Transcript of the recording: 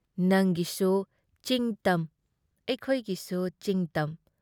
ꯅꯪꯒꯤꯁꯨꯨ ꯆꯤꯡ-ꯇꯝ ꯑꯩꯈꯣꯏꯒꯤꯁꯨ ꯆꯤꯡ-ꯇꯝ ꯫